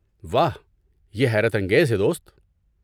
واہ! یہ حیرت انگیز ہے، دوست۔